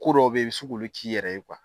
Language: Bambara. Ko dɔw bɛɛ i bɛ se k'olu k'i yɛrɛ ye kuwa.